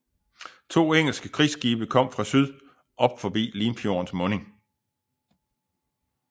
To engelske krigsskibe kom fra syd op forbi Limfjordens munding